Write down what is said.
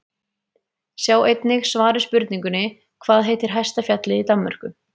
Sjá einnig svar við spurningunni Hvað heitir hæsta fjallið í Danmörku?